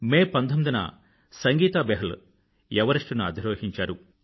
మే 19న సంగీతా బెహ్ల్ ఎవరెస్టుని అధిరోహించారు